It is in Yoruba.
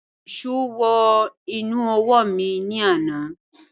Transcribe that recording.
Èsó wọ inú ọwọ́ mi ní àná